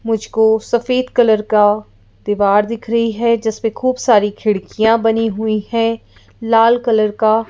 मुझको सफेद कलर का दीवार दिख रही है जिस पे खूब सारी खिड़कियां बनी हुई हैं लाल कलर का --